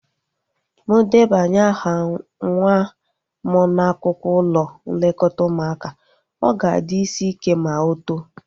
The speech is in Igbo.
Mụ debanye aha nwa m n'akwụkwọ ụlọ nlekọta ụmụaka, ọ ga-adị isi ike ma o too